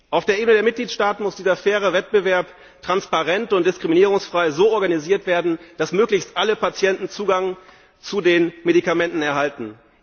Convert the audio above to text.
Auf der Ebene der Mitgliedstaaten muss dieser faire Wettbewerb transparent und diskriminierungsfrei so organisiert werden, dass möglichst alle Patienten Zugang zu den Medikamenten erhalten.